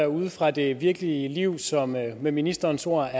ude fra det virkelige liv som med ministerens ord